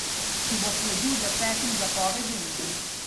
Ki bo sledil desetim zapovedim?